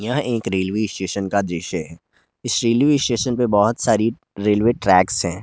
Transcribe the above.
यहां एक railway station का दृश्य हैं इस रेलवे स्टेशन पर बहुत सारी रेलवे ट्रेक्स है।